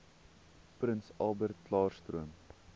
prins albertklaarstroom